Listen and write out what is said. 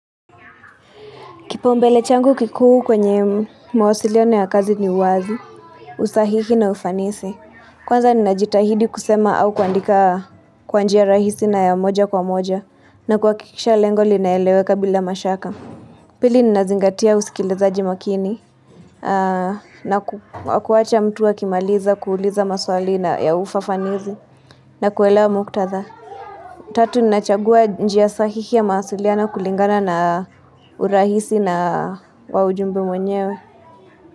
Kipau mbele changu kikuu kwenye mawasiliano ya kazi ni wazi, usahihi na ufanisi. Kwanza ninajitahidi kusema au kuandika kwanji ya rahisi na ya moja kwa moja na kuakikisha lengo linaeleweka bila mashaka. Pili ninazingatia usikilizaji makini na kuwacha mtu akimaliza, kuuliza maswali na ya ufafanizi na kuelea muktadha. Tatu ninachagua njia sahihi ya mawasiliano kulingana na urahisi na waujumbe mwenyewe.